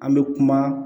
An bɛ kuma